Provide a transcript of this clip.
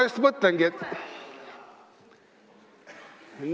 Ma just mõtlesin, et ...